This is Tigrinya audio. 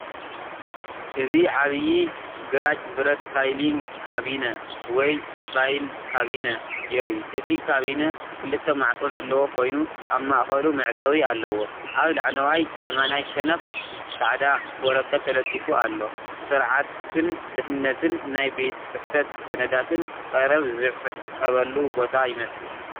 እዚ ዓቢይ ግራጭ ብረት ፋይሊንግ ካቢነ ወይ ፋይል ካቢነ የርኢ። እቲ ካቢነ ክልተ ማዕጾ ዘለዎ ኮይኑ፡ኣብ ማእከሉ መዕጸዊ ኣለዎ። ኣብ ላዕለዋይ የማናይ ሸነኽ ጻዕዳ ወረቐት ተለጢፉ ኣሎ። ስርዓትን ድሕንነትን! ናይ ቤት ጽሕፈት ሰነዳትን ቀረብን ዝዕቀበሉ ቦታ ይመስል።